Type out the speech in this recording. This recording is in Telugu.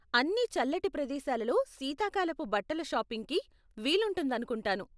అన్నీ చల్లటి ప్రదేశాలలో శీతాకాలపు బట్టల షాపింగ్కి వీలుంటుందనుకుంటాను.